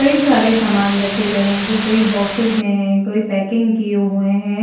कई सारे समाने रखे गए हैं कोई बॉक्सेस में है कोई पैकिंग किये हुए हैं।